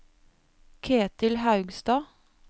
Ketil Haugstad